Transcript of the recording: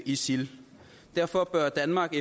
isil derfor bør danmark